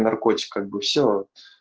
наркотик как бы все